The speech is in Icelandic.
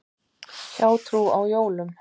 Hjátrú á jólum.